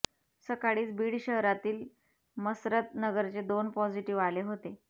सकाळीच बीड शहरातील मसरत नगरचे दोन पॉझिटीव्ह आले होते